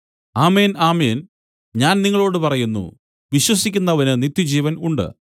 ആമേൻ ആമേൻ ഞാൻ നിങ്ങളോടു പറയുന്നു വിശ്വസിക്കുന്നവന് നിത്യജീവൻ ഉണ്ട്